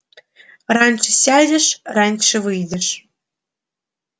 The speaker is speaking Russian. раньше сядешь раньше выйдешь